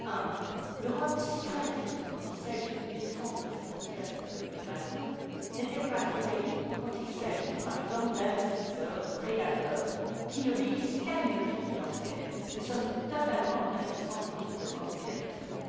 Premièrement, l'Europe, si craintive quand il s'agit de défendre ses frontières contre l'immigration, n'est elle pas trop naïve quand il s'agit, par exemple, d'investisseurs, de prédateurs, qui n'obéissent qu'à une logique financière? Nous sommes totalement impuissants, aujourd'hui, devant ces agissements.